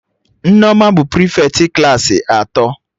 Nneoma bụ prịfeti klaasị atọ